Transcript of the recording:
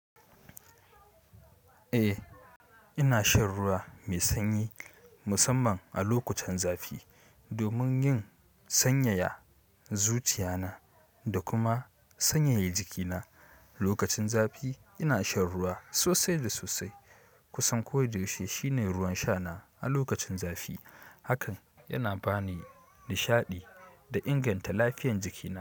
Eh, ina shan ruwa mai sanyi musamman a lokutan zafi domin yin sanyaya zuciya na da kuma sanyaya jiki na. Lokacin zafi ina shan ruwa sosai da sosai. Kusan ko da yaushe shine ruwan sha na a lokacin zafi hakan yana ba ni nishaɗi da inganta lafiyan jiki na.